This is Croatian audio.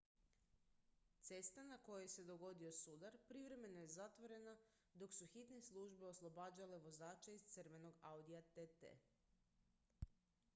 cesta na kojoj se dogodio sudar privremeno je zatvorena dok su hitne službe oslobađale vozača iz crvenog audija tt